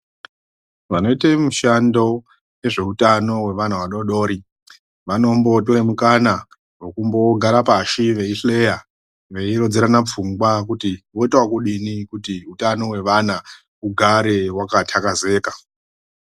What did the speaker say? Vanoite mishando wezveutano hwevana vadoodori vanombotore mukana wekumbogara pashi veihleya veirodzerana pfungwa kuti voite ekudini kuti hutano hwevana hugare hwaka takazeka.